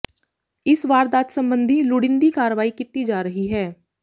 ਇਸ ਵਾਰਦਾਤ ਸਬੰਧੀ ਲੁੜੀਂਦੀ ਕਾਰਵਾਈ ਕੀਤੀ ਜਾ ਰਹੀ ਹੈ